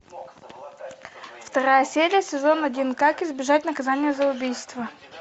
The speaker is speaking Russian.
вторая серия сезон один как избежать наказания за убийство